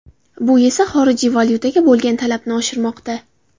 Bu esa xorijiy valyutaga bo‘lgan talabni oshirmoqda.